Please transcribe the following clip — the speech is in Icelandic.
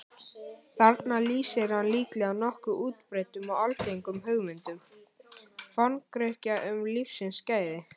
Þarna lýsir hann líklega nokkuð útbreiddum og algengum hugmyndum Forngrikkja um lífsins gæði.